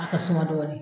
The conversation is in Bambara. A ka suma dɔɔni